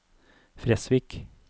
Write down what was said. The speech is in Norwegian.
Fresvik